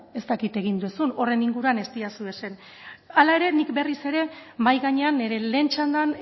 ez dakit egin duzun horren inguruan ez didazu ezer esan hala ere nik berriz ere mahai gainean nire lehen txandan